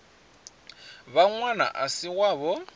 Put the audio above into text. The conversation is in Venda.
vha ṅwana a si wavho